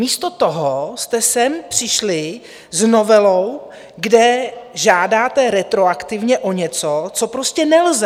Místo toho jste sem přišli s novelou, kde žádáte retroaktivně o něco, co prostě nelze.